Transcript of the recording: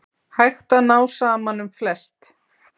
Hægt að ná saman um flest